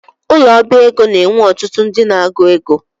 Ụlọ ọbá ego n'enwe ọtụtụ ndị n'agụ égo